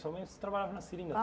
Sua mãe trabalhava na seringa